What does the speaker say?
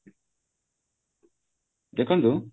ଦେଖନ୍ତୁ